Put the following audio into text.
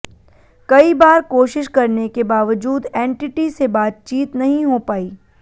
कई बार कोशिश करने के बावजूद एनटीटी से बातचीत नहीं हो पाई